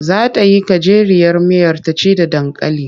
Za ta yi gajeriyar miyar ta ci da dankali.